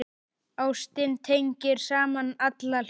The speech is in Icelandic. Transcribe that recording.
Ástin tengir saman alla hluti.